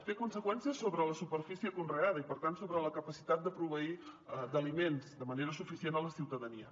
té conseqüències sobre la superfície conreada i per tant sobre la capacitat de proveir d’aliments de manera suficient a la ciutadania